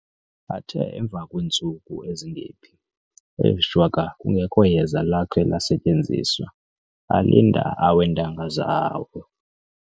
Athe emva kweentsuku ezingephi, ee shwaka kungekho yeza lakhe lasetyenziswa, alinda aweentanga zabo.